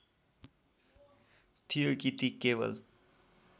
थियो कि ती केवल